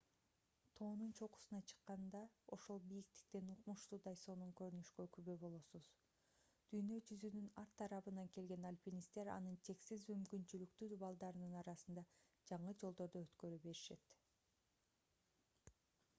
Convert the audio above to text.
тоонун чокусуна чыкканда ошол бийиктиктен укмуштуудай сонун көрүнүшкө күбө болосуз. дүйнө жүзүнүн ар тарабынан келген aльпинисттер анын чексиз мүмкүнчүлүктүү дубалдарынын арасында жаңы жолдорду өткөрө беришет